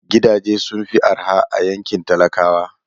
Gidaje sun fi araha a yankin talakawa